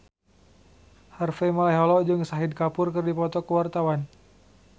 Harvey Malaiholo jeung Shahid Kapoor keur dipoto ku wartawan